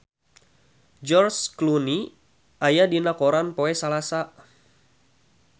George Clooney aya dina koran poe Salasa